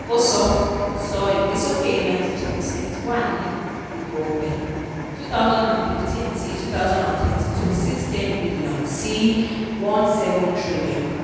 ó sọ sọ ìgbésókè ninety two percent ]cs] wà ní ètò-ọ̀gbìn twenty fifteen-twenty twenty two six ten billion sí one seven billion.